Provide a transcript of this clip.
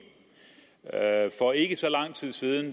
der er indgået for ikke så lang tid siden